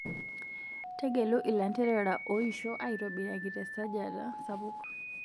Tegelu ilanterera oishioo aitobiraki tesajata sapuk.